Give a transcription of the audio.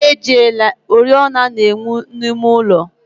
Chi ejiela, oriọna na-enwu n'ime ụlọ